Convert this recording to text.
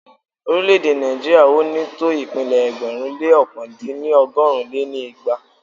Orílẹ̀-èdè Nàìjíríà ò ní tó ìpínlẹ̀ ẹgbẹ̀rún lé ọ̀kan dín ní ọgọ́rùn lé ní igba